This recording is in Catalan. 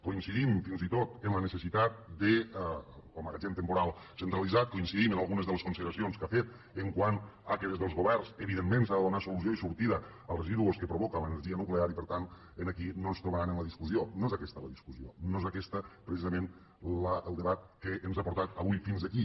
coincidim fins i tot en la necessitat del magatzem temporal centralitzat coincidim en algunes de les consideracions que ha fet quant al fet que des dels governs evidentment s’ha de donar solució i sortida als residus que provoca l’energia nuclear i per tant aquí no ens trobaran en la discussió no és aquesta la discussió no és aquest precisament el debat que ens ha portat avui fins aquí